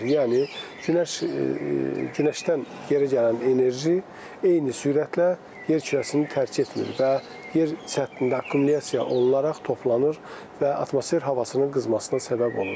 Yəni günəş, günəşdən geri gələn enerji eyni sürətlə yer kürəsini tərk etmir və yer səthində akkumulyasiya olunaraq toplanır və atmosfer havasının qızmasına səbəb olur.